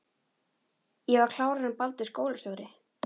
Ég var klárari en Baldur skólastjóri.